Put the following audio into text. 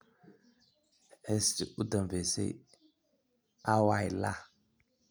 Heestiisii ​​u dambaysay, "Aaway Ilaah?"